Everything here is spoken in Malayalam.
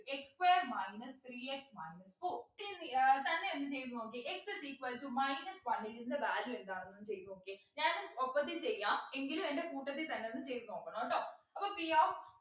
x square minus three x minus four തന്നെ ഒന്ന് ചെയ്ത് നോക്കിയെ x is equal to minus one ൽ നിൻ്റെ value എന്താണ് ഒന്നു ചെയ്തു നോക്കിയേ ഞാനും ഒപ്പത്തിന് ചെയ്യാം എങ്കിലും എൻ്റെ കൂട്ടത്തി തന്നെ ഒന്ന് ചെയ്തു നോക്കണം ട്ടോ അപ്പൊ p of